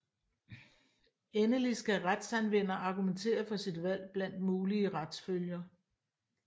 Endelig skal retsanvender argumentere for sit valg blandt mulige retsfølger